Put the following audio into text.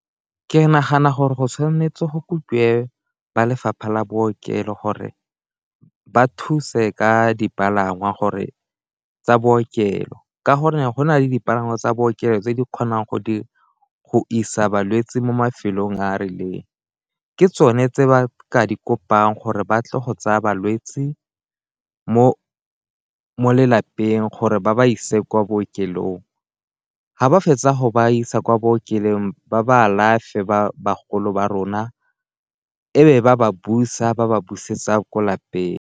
Ke nagana gore go tshwanetse go kopiwe ba lefapha la bookelo gore ba thuse ka dipalangwa gore tsa bookelo ka gore go na le dipalangwa tsa bookelo tse di kgonang go isa balwetse mo mafelong a a rileng, ke tsone tse ba ka di kopang gore ba tle go tsaya balwetse mo lelapeng gore ba ba ise kwa bookelong, ga ba fetsa go ba isa kwa bookelong ba ba alafe ba bagolo ba rona e be ba ba busa ba ba busetsa kwa lapeng.